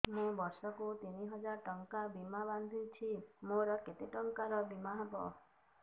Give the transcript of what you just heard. ମୁ ବର୍ଷ କୁ ତିନି ହଜାର ଟଙ୍କା ବୀମା ବାନ୍ଧୁଛି ମୋର କେତେ ଟଙ୍କାର ବୀମା ହବ